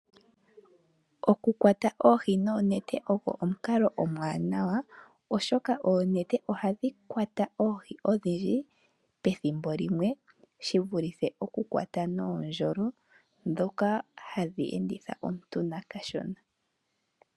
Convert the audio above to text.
Okukwata oohi noonete oko omukalo omuwanawa, oshoka oonete ohadhi kwata oohi odhindji pethimbo limwe shi vulithe okukwata nuundjolo mboka hawu enditha omuntu kashona.